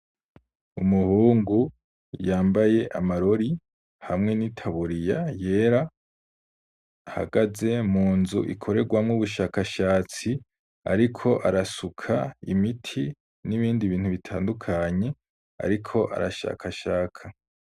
Umuhungu yambaye amarori hamwe n'itaburiya yera, ahagaze munzu ikorerwamwo ubushakashatsi, ariko arasuka imiti n'Ibindi ibintu bitandukanye, ariko arashaka shaka.